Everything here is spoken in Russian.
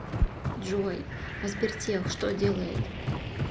джой а сбертех что делает